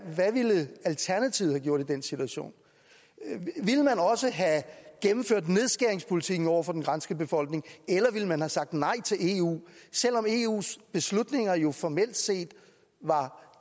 hvad ville alternativet have gjort i den situation ville man også have gennemført nedskæringspolitikken over for den græske befolkning eller ville man have sagt nej til eu selv om eus beslutninger jo formelt set var